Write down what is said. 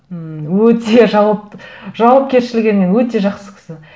ммм өте жауапкершілігімен өте жақсы кісі